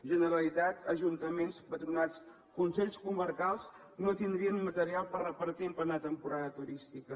generalitat ajuntaments patronats consells comarcals no tindrien material per repartir en plena temporada turística